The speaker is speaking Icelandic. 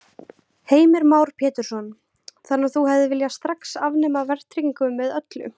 Heimir Már Pétursson: Þannig að þú hefðir viljað strax afnema verðtryggingu með öllu?